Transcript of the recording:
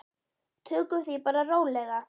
Tökum því bara rólega.